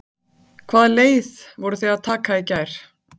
Kjartan: Hvaða leið voruð þið að taka í gær?